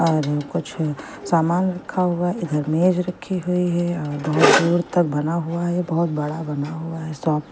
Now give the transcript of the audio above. और कुछ सामान रखा हुआ इधर मेज रखी हुई है अह बहुत दूर तक बना हुआ है बहुत बड़ा बना हुआ है शॉप ।